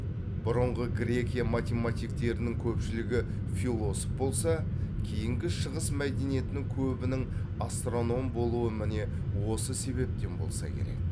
бұрынғы грекия математиктерінің көпшілігі философ болса кейінгі шығыс мәдениетінің көбінің астроном болуы міне осы себептен болса керек